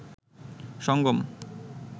সঙ্গম